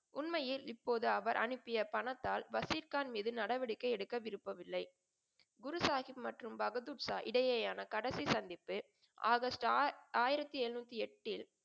உண்மையில் இப்போது அவர் அனுப்பிய பணத்தால் வசிப்கான் மீது நடவடிக்கை எடுக்க விரும்பவில்லை. குரு சாஹிப் மற்றும் பகதூர்ஷா இடையேயான கடைசி சந்த்திப்பு ஆகஸ்ட் ஆயிரத்தி எழுநூத்தி எட்டில்,